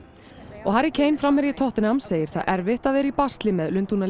og Harry framherji tottenham segir erfitt að vera í basli með